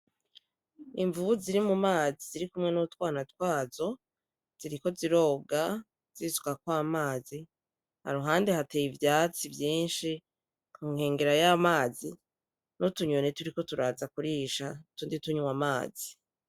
Imvubu ziri mu mazi zirikumwe n'utwana twazo ziriko ziroga zisukako amazi iruhande hateye ivyatsi vyishi ku nkengera y'amazi n'utunyoni turiko turaza kurisha utundi tunwa amazi.